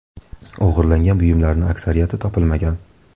O‘g‘irlangan buyumlarning aksariyati topilmagan.